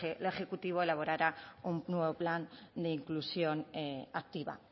la ejecutiva elaborara un nuevo plan de inclusión activa